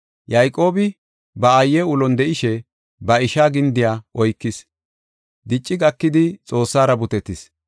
Yayqoobi ba aaye ulon de7ishe ba ishaa gindiya oykis. Dicci gakidi Xoossara butetis;